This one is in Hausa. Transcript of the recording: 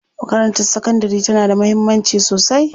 Makarantar sakandari tana da mahimmanci sosai.